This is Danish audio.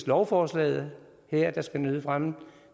lovforslaget her der skal nyde fremme